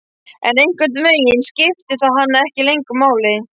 En einhvern veginn skiptir það hana ekki lengur máli.